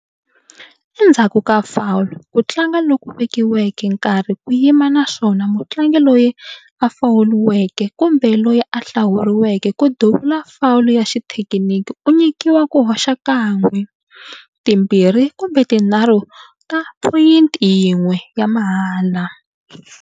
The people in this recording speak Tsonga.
Endzhaku ka foul, ku tlanga loku vekiweke nkarhi ku yima naswona mutlangi loyi a fouliweke kumbe loyi a hlawuriweke ku duvula foul ya xithekiniki u nyikiwa ku hoxa kan'we, timbirhi kumbe tinharhu ta phoyinti yin'we ya mahala.